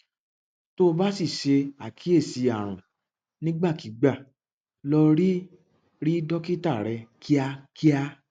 tó o bá sì ṣe àkíyèsí àrùn nígbàkigbà lọ rí rí dókítà rẹ kíákíá